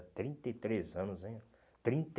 trinta e três anos, hein?